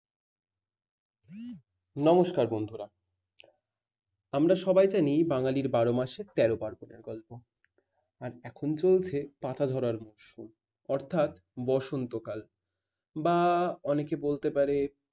নমস্কার বন্ধুরা। আমরা সবাই জানি বাঙালির বারো মাসে তেরো পার্বণ গল্প । আর এখন চলছে পাতা ঝরার মরশুম। অর্থাৎ বসন্তকাল। বা অনেকে বলতে পারে